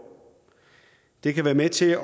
det kan være med til at